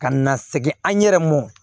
Ka na segin an yɛrɛ mɔ